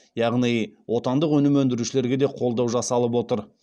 яғни отандық өнім өндірушілерге де қолдау жасалып отыр